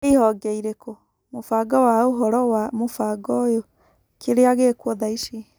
Nĩ ihonge irĩkũ / mũbango wa ũhoro wa mũbango ũyũ - kĩrĩa gĩkuo thaici.